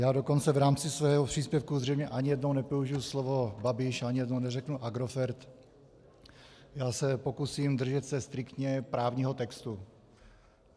Já dokonce v rámci svého příspěvku zřejmě ani jednou nepoužiji slovo Babiš, ani jednou neřeknu Agrofert, já se pokusím držet se striktně právního textu.